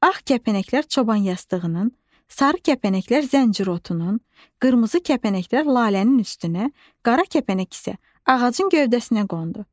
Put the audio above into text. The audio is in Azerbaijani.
Ağ kəpənəklər çobanyastığının, sarı kəpənəklər zəncirotunun, qırmızı kəpənəklər lalənin üstünə, qara kəpənək isə ağacın gövdəsinə qondu.